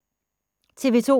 TV 2